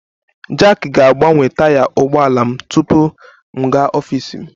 Jack ga-agbanwe taya ụgbọ ala m tupu m gaa n'ọfịs m